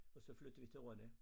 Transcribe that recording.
Og så flyttede vi til Rønne